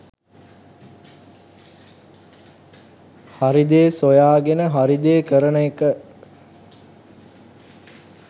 හරි දේ සොයාගෙන හරි දේ කරන එක.